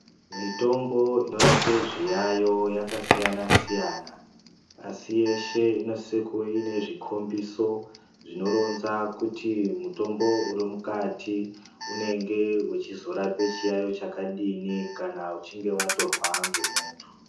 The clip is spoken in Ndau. Mitombo ino rape zviyayo yaka siyana siyana asi yeshe inosise kuve ine zvikombiso zvino ronza kuti mutombo uri mukati unenge uchizo rape chiyayo chakadini kana uchinge watorwa nge muntu.